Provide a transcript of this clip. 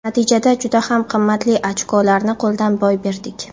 Natijada juda ham qimmatli ochkolarni qo‘ldan boy berdik.